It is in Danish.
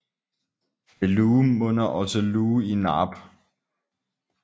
Ved Luhe munder også Luhe i Naab